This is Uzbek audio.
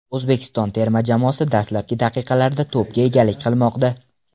O‘zbekiston terma jamoasi dastlabki daqiqalarda to‘pga egalik qilmoqda.